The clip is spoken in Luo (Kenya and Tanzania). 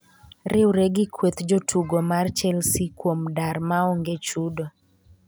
riwre gi kweth jotugo mar chelsea kuom dar ma onge chudo